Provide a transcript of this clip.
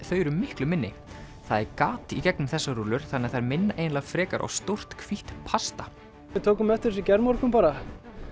þau eru miklu minni það er gat í gegnum þessar rúllur þannig að þær minna eiginlega frekar á stórt hvítt pasta við tókum eftir þessu í gærmorgun bara